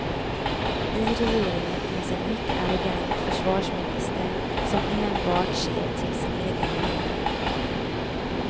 I regeringen finns en mycket arrogant försvarsminister som enbart ser till sin egen vinning.